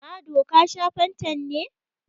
Mado, ka sha fantan ne?